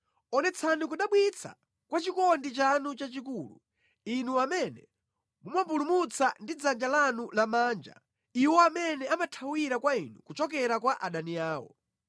Onetsani kudabwitsa kwa chikondi chanu chachikulu, Inu amene mumapulumutsa ndi dzanja lanu lamanja iwo amene amathawira kwa inu kuchoka kwa adani awo.